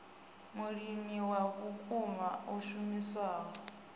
mulimi wa vhukuma a shumisaho